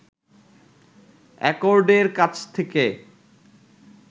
অ্যাকর্ডের কাছ থেকে